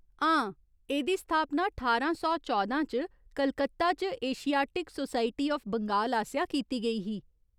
हां, एह्दी स्थापना ठारां सौ चौदां च कलकत्ता च एशियाटिक सोसाइटी आफ बंगाल आसेआ कीती गेई ही।